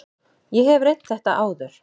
Ég hef reynt þetta áður.